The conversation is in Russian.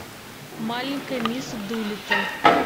маленькая мисс дулиттл